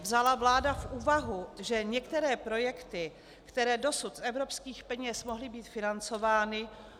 Vzala vláda v úvahu, že některé projekty, které dosud z evropských peněz mohly být financovány -